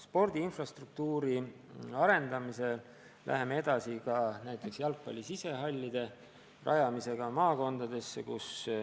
Spordi infrastruktuuri arendamisel läheme edasi ka näiteks jalgpalli sisehallide rajamisega maakondadesse.